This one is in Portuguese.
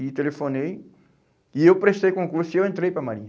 E telefonei, e eu prestei concurso e eu entrei para a Marinha.